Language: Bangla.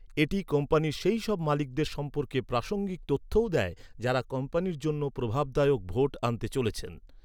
এটি কোম্পানির সেইসব মালিকদের সম্পর্কে প্রাসঙ্গিক তথ্যও দেয়, যাঁরা কোম্পানির জন্য প্রভাবদায়ক ভোট আনতে চলেছেন।